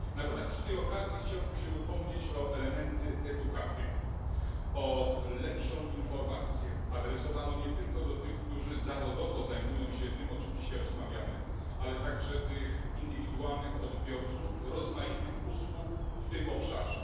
Natomiast przy tej okazji chciałbym się upomnieć o elementy edukacyjne, o lepszą informację adresowaną nie tylko do tych, którzy zawodowo zajmują się tym, o czym dzisiaj rozmawiamy, ale także tych indywidualnych odbiorców rozmaitych usług w tym obszarze.